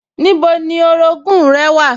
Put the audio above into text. Níbo ni orogún-ùn rẹ wà?